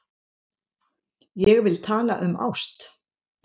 Ég vil tala um ást.